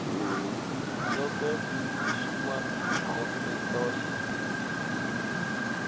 sulke schoeman dokumentasie